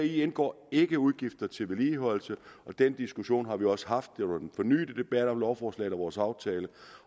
indgår ikke udgifter til vedligeholdelse den diskussion har vi også haft det var under den fornyede debat om lovforslaget og vores aftale